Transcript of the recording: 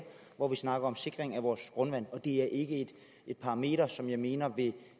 hvor der er snak om sikring af vores grundvand det er ikke et parameter som jeg mener vil